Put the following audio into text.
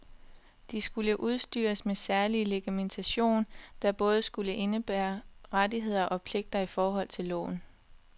De skulle udstyres med særlig legitimation, der både skulle indebære rettigheder og pligter i forhold til loven.